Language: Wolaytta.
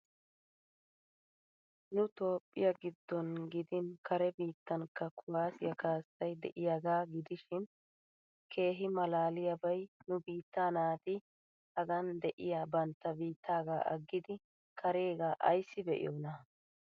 Nu Toophphiya giddon gidin kare biittankka kuwaasiya kaassay de'iyagaa gidishin keehi maalaaliyabay nu biittaa naati hagan de'iya bantta biittaagaa aggidi kareegaa ayssi be'iyona!